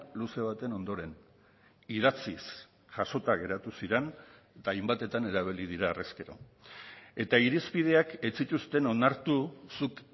luze baten ondoren idatziz jasota geratu ziren eta hainbatetan erabili dira harrezkero eta irizpideak ez zituzten onartu zuk